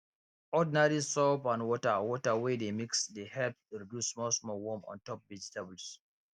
ordinary soap and water water wey dey mix dey help reduce small small worm on top vegetables